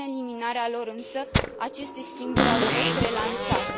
Prin eliminarea lor însă, aceste schimburi au fost relansate.